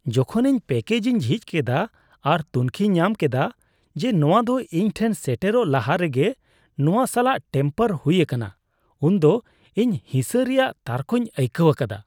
ᱡᱚᱠᱷᱚᱱ ᱤᱧ ᱯᱮᱠᱮᱡᱽ ᱤᱧ ᱡᱷᱤᱡ ᱠᱮᱫᱟ ᱟᱨ ᱛᱩᱱᱠᱷᱤ ᱧᱟᱢ ᱠᱮᱫᱟ ᱡᱮ ᱱᱚᱶᱟ ᱫᱚ ᱤᱧ ᱴᱷᱮᱱ ᱥᱮᱴᱮᱨᱚᱜ ᱞᱟᱦᱟ ᱨᱮᱜᱮ ᱱᱚᱶᱟ ᱥᱟᱞᱟᱜ ᱴᱮᱢᱯᱟᱨ ᱦᱩᱭ ᱟᱠᱟᱱᱟ ᱩᱱᱫᱚ ᱤᱧ ᱦᱤᱥᱟᱹ ᱨᱮᱭᱟᱜ ᱛᱟᱨᱠᱳᱧ ᱟᱹᱭᱠᱟᱹᱣ ᱟᱠᱟᱫᱟ ᱾